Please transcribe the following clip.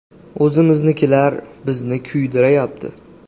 O‘zimiznikilar bizni kuydirayapti”.